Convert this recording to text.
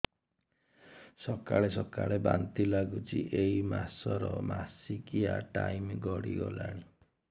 ସକାଳେ ସକାଳେ ବାନ୍ତି ଲାଗୁଚି ଏଇ ମାସ ର ମାସିକିଆ ଟାଇମ ଗଡ଼ି ଗଲାଣି